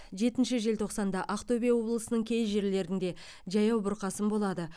жетінші желтоқсанда ақтөбе облысының кей жерлерінде жаяу бұрқасын болады